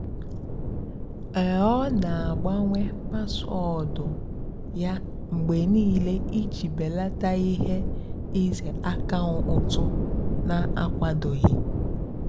ọ́ nà-àgbànwé páswóọ̀dụ́ yá mgbe níìlé ìjì bèlátá íhé ìzè ákàụ́ntụ́ nà-ákwádòghì.